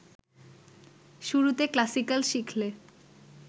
শুরুতে ক্লাসিক্যাল শিখলে